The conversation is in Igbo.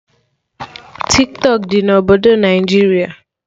Tiktọk dị na obodo Naijiria